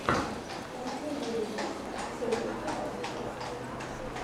последний выпуск солид лайв